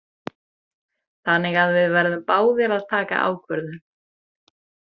Þannig að við verðum báðir að taka ákvörðun.